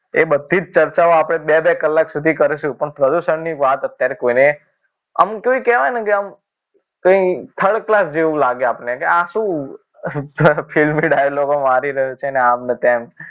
એ બધી જ ચર્ચાઓ આપણે બે બે કલાક સુધી કરીશું પણ પ્રદૂષણની વાત અત્યારે કોઈને આમ તો એમ કહેવાય ને કે આમ કંઈક third class જેવું લાગે આપણે કે આ શું filmy dialogue મારી રહ્યો છે ને આમ ને તેમ